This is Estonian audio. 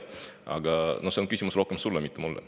Aga see on küsimus rohkem sulle, mitte mulle.